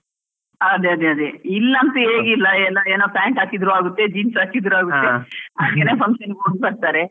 ಹ ಅದೇ ಅದೇ, ಇಲ್ಲಿ ಅಂತ್ ಏನ್ ಇಲ್ಲಾ pant ಹಾಕಿದ್ರೂ ಆಗುತ್ತೆ, jeans ಹಾಕಿದ್ರು ಆಗುತ್ತೆ function ಗೆ ಹೋಗ್ ಬರ್ತಾರೆ.